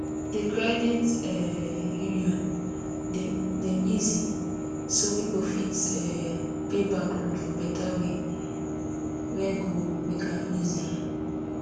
the credit um union dem easy so people fit um pay back loan for better way wey go make am easy